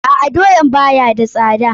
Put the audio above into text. A'a, doyaan ba ya da sada.